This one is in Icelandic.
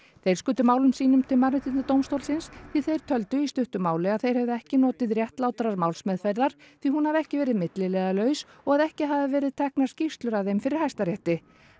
þeir skutu málum sínum til Mannréttindadómstólsins því þeir töldu í stuttu máli að þeir hefðu ekki notið réttlátrar málsmeðferðar því hún hafi ekki verið milliliðalaus og að ekki hafi verið teknar skýrslur af þeim fyrir Hæstarétti